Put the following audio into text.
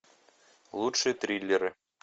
лучшие триллеры